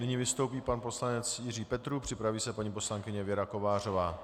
Nyní vystoupí pan poslanec Jiří Petrů, připraví se paní poslankyně Věra Kovářová.